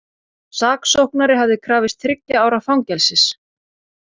Saksóknari hafði krafist þriggja ára fangelsis